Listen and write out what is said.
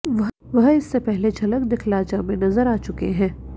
वह इससे पहले झलक दिखला जा मे नजर आ चुके हैं